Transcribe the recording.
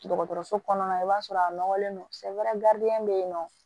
Dɔgɔtɔrɔso kɔnɔna la i b'a sɔrɔ a nɔgɔlen don sɛ wɛrɛ bɛ yen nɔ